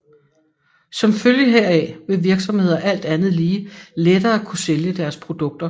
Som følge heraf vil virksomheder alt andet lige lettere kunne sælge deres produkter